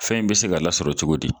Fɛn in be se ka lasɔrɔ cogo di